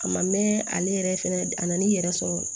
A ma mɛn ale yɛrɛ fɛnɛ a na n'i yɛrɛ sɔrɔ